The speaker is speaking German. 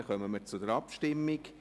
Somit kommen wir zur Abstimmung.